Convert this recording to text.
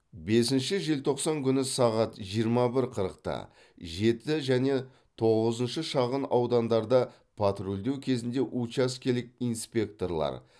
бесінші желтоқсан күні сағат жиырма бір қырықта жеті және тоғызыншы шағын аудандарда патрульдеу кезінде учаскелік инспекторлар